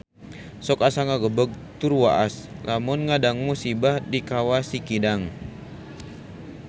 Sok asa ngagebeg tur waas lamun ngadangu musibah di Kawah Sikidang